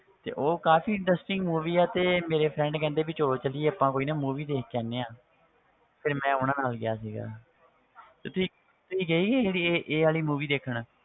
ਤੇ ਉਹ ਕਾਫ਼ੀ interesting movie ਹੈ ਤੇ ਮੇਰੇ friend ਕਹਿੰਦੇ ਵੀ ਚਲੋ ਚੱਲੀਏ ਆਪਾਂ ਕੋਈ ਨਾ movie ਦੇਖ ਕੇ ਆਉਂਦੇ ਹਾਂ ਮੈਂ ਉਹਨਾਂ ਨਾਲ ਗਿਆ ਸੀਗਾ ਤੇ ਤੁਸੀਂ ਤੁਸੀਂ ਗਏ ਸੀ ਕਦੇ ਇਹ ਇਹ ਵਾਲੀ movie ਦੇਖਣ